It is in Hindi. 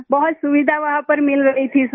बहुत सुविधा वहां पर मिल रही थी सर